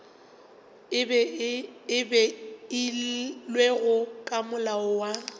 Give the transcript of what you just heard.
e beilwego ke molao wa